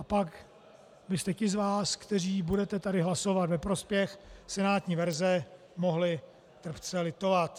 A pak byste ti z vás, kteří budete tady hlasovat ve prospěch (?) senátní verze, mohli trpce litovat.